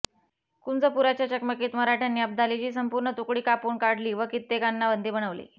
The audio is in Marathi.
कुंजपुराच्या चकमकीत मराठ्यांनी अब्दालीची संपूर्ण तुकडी कापून काढली व कित्येकांना बंदी बनवले